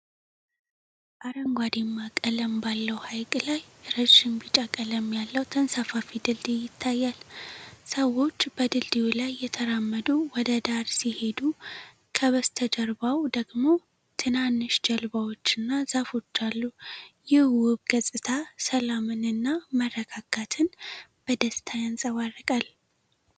አረንጓዴማ ቀለም ባለው ሐይቅ ላይ ረዥም ቢጫ ቀለም ያለው ተንሳፋፊ ድልድይ ይታያል። ሰዎች በድልድዩ ላይ እየተራመዱ ወደ ዳር ሲሄዱ፣ ከበስተጀርባው ደግሞ ትናንሽ ጀልባዎችና ዛፎች አሉ። ይህ ውብ ገጽታ ሰላምን እና መረጋጋትን በደስታ ያንጸባርቃል።